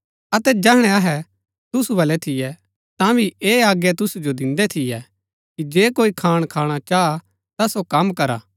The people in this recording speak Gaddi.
अतै जैहणै अहै तुसु बलै थियै तांभी ऐह आज्ञा तुसु जो दिन्दै थियै कि जे कोई खाण खाणा चाह ता सो कम करा